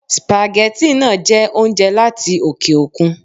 Spaghetti náà jẹ́ oúnjẹ láti oke òkun